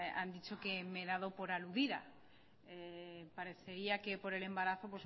han dicho que me he dado por aludida parecería que por el embarazo